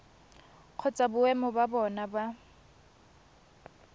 kgotsa boemo ba bona ba